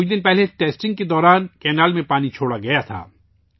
چند روز قبل ٹیسٹنگ کے دوران نہر میں پانی چھوڑا گیا تھا